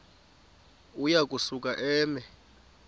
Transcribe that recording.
uya kusuka eme